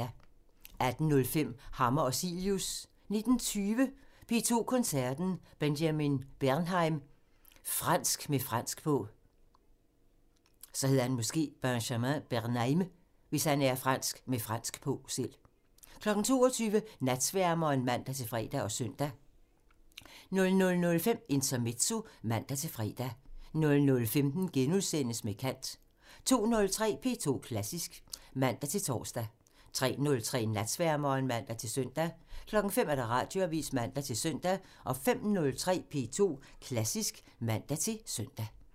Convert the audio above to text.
18:05: Hammer og Cilius (man) 19:20: P2 Koncerten – Benjamin Bernheim – fransk med fransk på 22:00: Natsværmeren (man-fre og søn) 00:05: Intermezzo (man-fre) 00:15: Med kant *(man) 02:03: P2 Klassisk (man-tor) 03:03: Natsværmeren (man-søn) 05:00: Radioavisen (man-søn) 05:03: P2 Klassisk (man-søn)